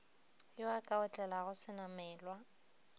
yo a ka otlelago senamelwa